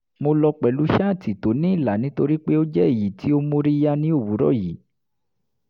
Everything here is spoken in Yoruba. mo lọ pẹ̀lú ṣáàtì tó ní ìlà nítorí pé ó jẹ́ èyí tí ó móríyá ní òwúrọ̀ yìí